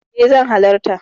E zan halarta.